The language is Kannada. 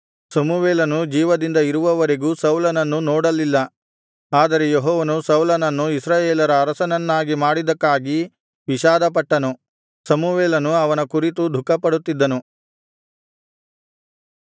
ಸಮುವೇಲನು ಜೀವದಿಂದ ಇರುವವರೆಗೂ ಸೌಲನನ್ನು ನೋಡಲಿಲ್ಲ ಆದರೆ ಯೆಹೋವನು ಸೌಲನನ್ನು ಇಸ್ರಾಯೇಲರ ಅರಸನನ್ನಾಗಿ ಮಾಡಿದ್ದಕ್ಕಾಗಿ ವಿಷಾದಪಟ್ಟನು ಸಮುವೇಲನು ಅವನ ಕುರಿತು ದುಃಖಪಡುತ್ತಿದ್ದನು